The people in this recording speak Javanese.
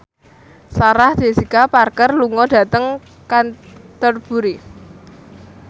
Sarah Jessica Parker lunga dhateng Canterbury